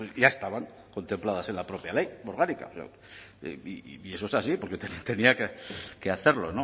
ya estaban contempladas en la propia ley orgánica y eso es así porque tenía que hacerlo